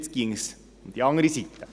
Jetzt ginge es auf die andere Seite.